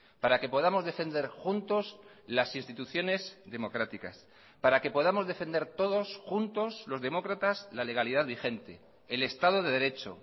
para que podamos defender juntos las instituciones democráticas para que podamos defender todos juntos los demócratas la legalidad vigente el estado de derecho